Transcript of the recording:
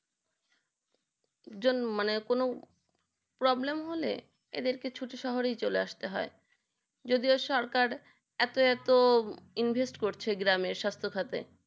জন মানে কোনো problem হলে এদেরকে ছোটো শহরে চলে আসতে হয় যদিও সারকার এত এত invest করছে গ্রামে স্বাস সাথে